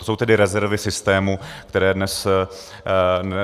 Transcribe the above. To jsou tedy rezervy systému, které dnes máme.